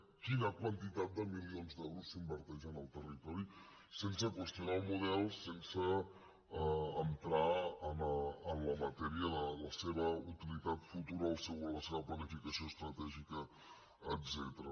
quina quantitat de milions d’euros s’inverteix en el territori sense qüestionar el model sense entrar en la matèria de la seva utilitat futura la seva planificació estratègica etcètera